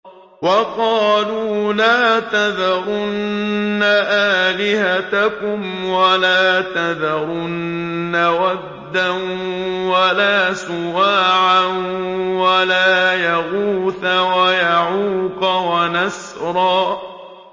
وَقَالُوا لَا تَذَرُنَّ آلِهَتَكُمْ وَلَا تَذَرُنَّ وَدًّا وَلَا سُوَاعًا وَلَا يَغُوثَ وَيَعُوقَ وَنَسْرًا